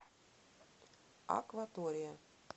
акватория